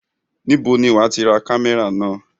Níbo ni wàá ti ra kámẹ́rà náà?